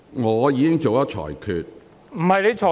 我已作出裁決。